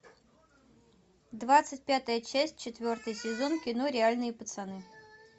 двадцать пятая часть четвертый сезон кино реальные пацаны